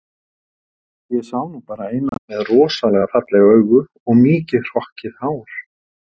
Ég sá nú bara eina með rosalega falleg augu og mikið hrokkið hár